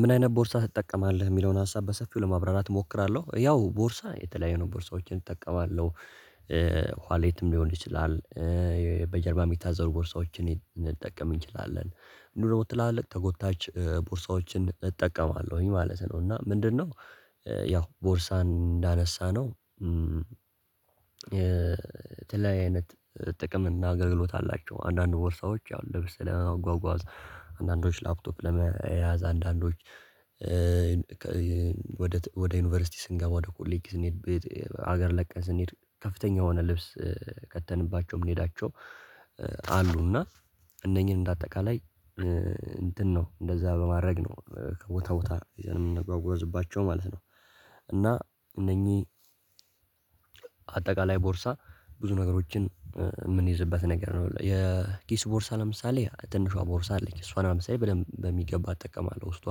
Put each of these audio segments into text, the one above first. ምን አይነት ቦርሳ ትጠቀማለህ? የሚለውን ሀሳብ በሰፊው ለማብራራት እሞክራለሁ ያው ቦርሳ የተለያዩ ነው ቦርሳዎችን እጠቀማለሁ። ዋሌትም ሊሆን ይችላል። በጀርባ የምታዘሉ ቦርሳዎችን እንጠቀም እንችላለን ምንድነው ትላለቅ ተጎታች ቦርሳዎችን እጠቀማለሁኝ ማለት ነው። እና ምንድነው? ያው ቦርሳን እንዳነሳነው የተለያየ አይነት ጥቅምና እናገልግሎት አላቸው። አንዳንድ ቦርሳዎች ያው ለብሰና ለማጓጓዝ አንዳንዶች ላፕቶፕ ለመያዝ አንዳንዶች ወደ ዩኒቨርሲቲ ስንገባ ወደ ኮሌጅ ስንሄድ ቤት ሀገር ለቀን ስንሄድ ከፍተኛ የሆነ ልብስ ከተንባቸው የምንሄዳቸው አሉና እነኚህን እንደ አጠቃላይ እንትን ነው እንደዛ በማድረግ ነው ከቦታ ቦታ የምንጓጓዝባቸው ማለት ነው። እና እነኚህ አጠቃላይ ቦርሳ ብዙ ነገሮችን የምንይዝበት ነገር ነው። የኪስ ቦርሳ ለምሳሌ ትንሿ ቦርሳ አለኝ እሷን ለምሳሌ በደንብ በሚገባ እጠቀማለሁ ውስጧ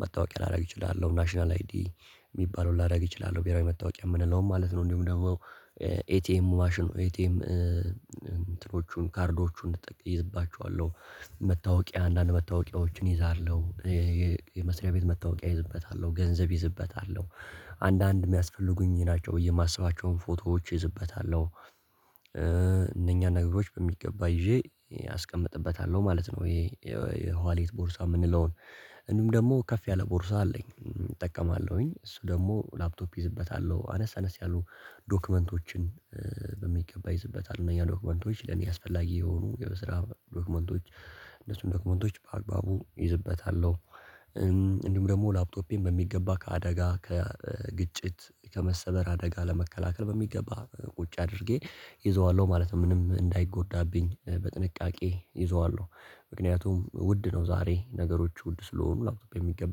መታወቂያ ላደርግ እችላለሁ ናሽናል አይዲ የሚባለውን ላደርግ እችላለሁ ብሄራዊ መታወቂያ የምንለውም ማለት ነው። እንደውም ደግሞ ኤቲኤም ማሽን ኤቲኤም እንትኖቹን ካርዶቹን ተጠቅመችባቸዋለሁ። መታወቂያ አንዳንድ መታወቂያዎችን ይዛለሁ የመስሪያ ቤት መታወቂያ እይዝበታለሁ ገንዘብ እይዝበታለሁ አንዳንድ የሚያስፈልጉኝ ናቸው ብዬ የማስባቸውን ፎቶዎች ይዝበታለሁ እነኛ ነገሮች በሚገባ ይዤ አስቀምጥበታለሁ ማለት ነው። ይሄ የዋሌት ቦርሳ የምንለውን እንዲሁም ደግሞ ከፍ ያለ ቦርሳ አለኝ እጠቀማለሁኝ እሱ ደግሞ ላፕቶፕ እይዝበታለሁ አነስ አነስ ያሉ ዶክመንቶችን በሚገባ ይዝበታል እነኛ ዶክመንቶች ለኔ አስፈላጊ የሆኑ የስራ ዶክመንቶች እነሱን ደክመንቶች በአግባቡ እይዝበታለሁ። እንዲሁም ደግሞ ላፕቶፔን በሚገባ ከአደጋ ከግጭት ከመሰበር አደጋ ለመከላከል በሚገባ ቁጭ አድርጌ ይዘዋለሁ ማለት ነው። ምንም እንዳይጎዳብኝ በጥንቃቄ ይዘዋለሁ ምክንያቱም ውድ ነው ዛሬ ነገሮች ውድ ስለሆኑ ላውቀው በሚገባ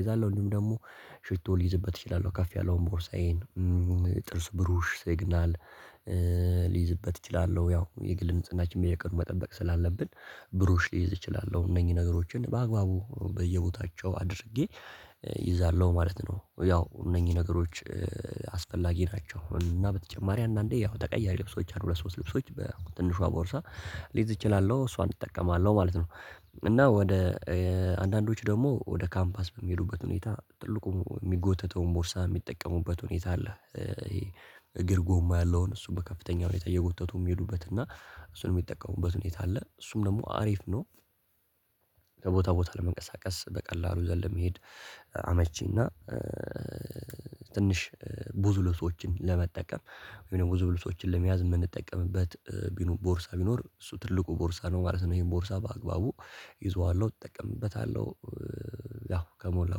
ይዛለሁ ወይም ደግሞ ሽቶ ሊይዝበት እችላለሁ። ከፍ ያለውን ቦርሳዬን ጥርስ ብሩሽ ሲግናል ሊይዝበት እችላለሁ ያው የግል ንጽህናችንን በየቀኑ መጠበቅ ስላለብን ብሩሽ ሊይዝ እችላለሁ እነኚህ ነገሮችን በአግባቡ በየቦታቸው አድርጌ እይዛለሁ ማለት ነው። ያው እነኚህ ነገሮች አስፈላጊ ናቸው እና በተጨማሪ አንዳንዴ ያው ተቀያሪ ልብሶች አንድ ሁለት ሶስት ልብሶች በትንሿ ቦርሳ ልይዝ እችላለሁ እሷን እጠቀማለሁ ማለት ነው። እና ወደ አንዳንዶች ደግሞ ወደ ካምፓስ በሚሄዱበት ሁኔታ ጥልቁን የሚጎተተውን ቦርሳ የሚጠቀሙበት ሁኔታ አለ። እግር ጎማ ያለውን እሱ በከፍተኛ ሁኔታ እየጎተቱ የሚሄዱበት እና እሱንም የሚጠቀሙበት ሁኔታ አለ እሱም ደግሞ አሪፍ ነው። ከቦታ ቦታ ለመንቀሳቀስ በቀላሉ ይዘን ለመሄድ አመቺና ትንሽ ብዙ ልብሶችን ለመጠቀም ወይም ደግሞ ብዙ ልብሶችን ለመያዝ የምንጠቀምበት ቢኖር ቦርሳ ቢኖር እሱ ትልቁ ቦርሳ ነው ማለት ነው። ይሄን ቦርሳ በአግባቡ ይዘዋለሁ እጠቀምበታለሁ። ያው ከሞላ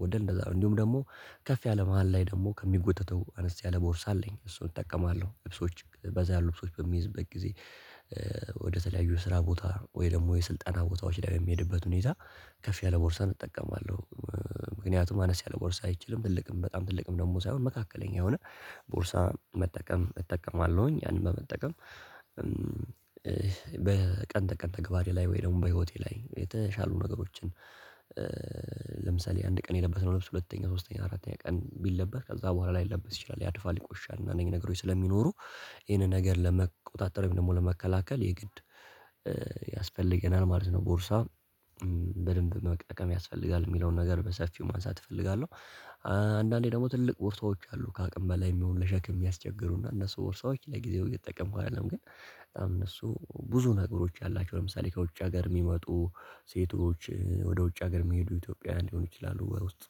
ጎደል እንደዛ ነው እንዲሁም ደግሞ ከፍ ያለ መሃል ላይ ደግሞ ከሚጎተተው አነስ ያለ ቦርሳ አለኝ እሱን እጠቀማለሁ ልብሶች በዛ ያሉ ልብሶች በሚይዝበት ጊዜ ወደተለያዩ ስራ ቦታ ወይ ደግሞ የስልጠና ቦታዎች ላይ የሚሄድበት ሁኔታ ከፍ ያለ ቦርሳ እጠቀማለሁ። ምክንያቱም አነስ ያለ ቦርሳ አይችልም ትልቅም በጣም ትልቅም ደግሞ ሳይሆን መካከለኛ የሆነ ቦርሳ መጠቀም እጠቀማለሁኝ ያንን በመጠቀም ተቀን ተግባሬ ላይ ወይ ደግሞ በህይወቴ ላይ የተሻሉ ነገሮችን ለምሳሌ አንድ ቀን የለበስነው ልብስ ሁለተኛ ሶስተኛ አራተኛ ቀን ቢለበስ ከዛ በኋላ ላይለበስ ይችላል። ያድፋል ይቆሻል እና አንዳንድ ነገሮች ስለሚኖሩ ይሄንን ነገር ለመቆጣጠር ወይም ደግሞ ለመከላከል የግድ ያስፈልገናል ማለት ነው። ቦርሳ በደንብ መጠቀም ያስፈልጋል የሚለውን ነገር በሰፊው ማንሳት እፈልጋለሁ። አንዳንዴ ደግሞ ትልቅ ቦርሳዎች አሉ ከአቅም በላይ የሚሆኑ ለሸክም የሚያስቸግሩና እነሱ ወርሳዎች ለጊዜው እየተጠቀምኩ አይደለም ግን እነሱ ብዙ ነገሮች አላቸው ለምሳሌ ከውጭ ሀገር የሚመጡ ሴቶች ወደ ውጭ ሀገር የሚሄዱ ኢትዮጵያውያን ሊሆኑ ይችላሉ። ውስጥ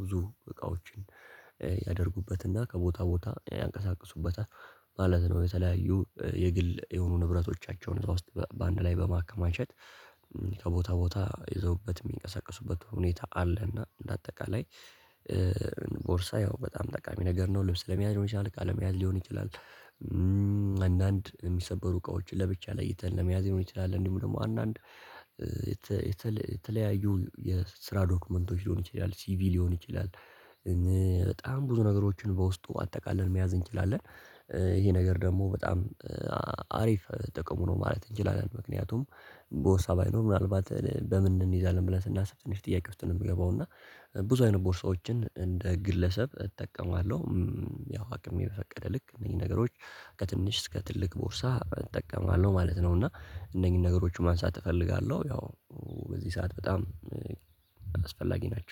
ብዙ እቃዎችን ያደርጉበትና ከቦታ ቦታ ያንቀሳቅሱበታል ማለት ነው። የተለያዩ የግል የሆኑ ንብረቶቻቸውን እዛ ውስጥ በአንድ ላይ በማከማቸት ከቦታ ቦታ ይዘውበት የሚንቀሳቀሱበት ሁኔታ አለ። እና በአጠቃላይ ቦርሳ ያው በጣም ጠቃሚ ነገር ነው ልብስ ለመያዝ ሊሆን ይችላል እቃ ለመያዝ ሊሆን ይችላል። አንዳንድ የሚሰበሩ እቃዎች ለብቻ ለይተን ለመያዝ ሊሆን ይችላል እንዲሁም ደግሞ አንዳንድ የተለያዩ የስራ ዶክመንቶች ሊሆን ይችላል ሲቪ ሊሆን ይችላል። በጣም ብዙ ነገሮችን በውስጡ አጠቃለን መያዝ እንችላለን። ይሄ ነገር ደግሞ በጣም አሪፍ ጥቅሙ ነው ማለት እንችላለን። ምክንያቱም ቦርሳ ባይኖር ምናልባት በምን እንይዛለን ብለን ስናስብ ትንሽ ጥያቄ ውስጥ ነው የምገባው እና ብዙ አይነት ቦርሳዎችን እንደ ግለሰብ እጠቀማለሁ። ያው አቅሜ በፈቀደ ልክ እነኚህ ነገሮች ከትንሽ እስከ ትልቅ ቦርሳ እጠቀማለሁ ማለት ነው። እና እነኚህን ነገሮች ማንሳት እፈልጋለሁ ያው በዚህ ሰዓት በጣም አስፈላጊ ናቸው